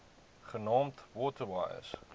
genaamd water wise